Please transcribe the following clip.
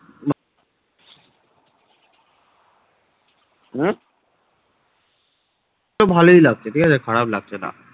উহ তো ভালোই লাগছে ঠিকাছে খারাপ লাগছে না।